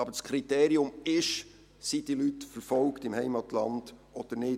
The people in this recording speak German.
Aber das Kriterium lautet: Sind diese Leute im Heimatland verfolgt oder nicht?